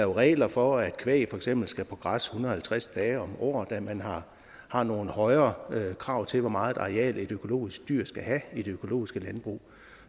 regler for at kvæg for eksempel skal på græs en hundrede og halvtreds dage om året da man har har nogle højere krav til hvor meget areal et økologisk dyr skal have i det økologiske landbrug